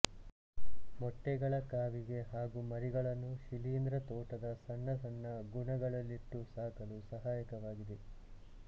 ಮೊಟ್ಟೆಗಳ ಕಾವಿಗೆ ಹಾಗೂ ಮರಿಗಳನ್ನು ಶಿಲೀಂದ್ರ ತೋಟದ ಸಣ್ಣ ಸಣ್ಣ ಗುಣಗಳಲ್ಲಿಟ್ಟು ಸಾಕಲು ಸಹಾಯಕವಾಗಿವೆ